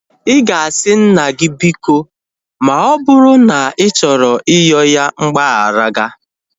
Ị ga-asị nna gị biko ma ọ bụrụ na ị chọrọ iyoo ya mgbagharaịga